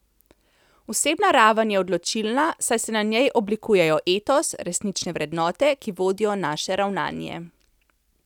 Osebna raven je odločilna, saj se na njej oblikujejo etos, resnične vrednote, ki vodijo naše ravnanje.